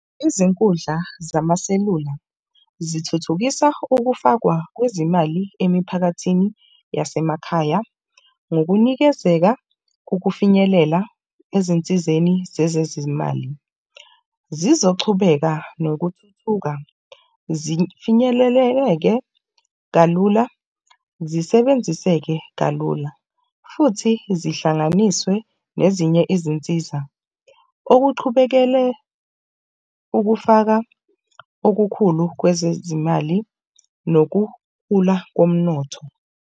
Izinkundla zamaselula zithuthukisa ukufakwa kwezimali emiphakathini yasemakhaya ngokunikezeka kokufinyelela ezinsizeni zezezimali zizochubeka nokuthuthuka, zifinyeleleke kalula, zisebenziseke kalula futhi zihlanganiswe nezinye izinsiza. Okuchubekele, ukufaka okukhulu kwezezimali nokukhula komnotho.